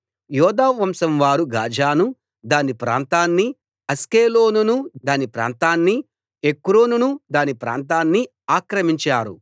యూదావంశం వారు గాజాను దాని ప్రాంతాన్ని అష్కెలోనును దాని ప్రాంతాన్ని ఎక్రోనును దాని ప్రాంతాన్ని ఆక్రమించారు